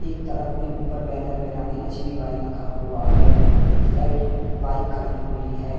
एकतरफ में ऊपर बैनर में रानी लक्ष्मीबाई लिखा हुआ है एक साइड अ बाइक खड़ी हुई है।